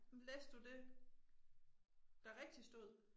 Men læste du det der rigtig stod?